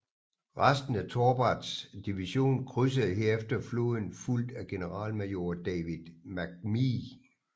Resten af Torberts division krydsede herefter floden fulgt af generalmajor David McM